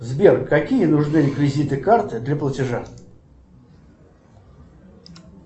сбер какие нужны реквизиты карты для платежа